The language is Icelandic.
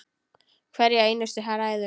Hverja einustu hræðu!